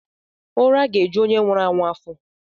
Ụra ga-eju onye nwụrụ anwụ afọ.